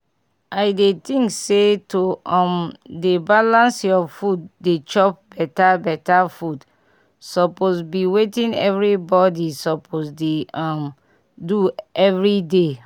i dey think say to um dey balance your food dey chop beta beta food suppose bi wetin everybody suppose dey um do everyday